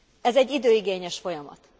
Ez egy időigényes folyamat.